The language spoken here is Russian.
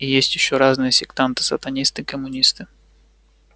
и есть ещё разные сектанты сатанисты коммунисты